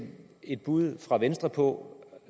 et bud fra venstre på